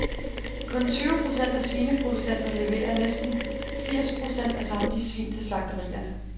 Kun tyve procent af svineproducenter leverer næsten firs procent af samtlige svin til slagterierne.